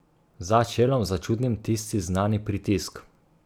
Za čelom začutim tisti znani pritisk.